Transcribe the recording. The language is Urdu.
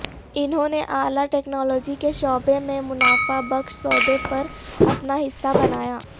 انہوں نے اعلی ٹیکنالوجی کے شعبے میں منافع بخش سودے پر اپنا حصہ بنایا